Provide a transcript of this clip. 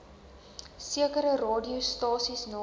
sekere radiostasies name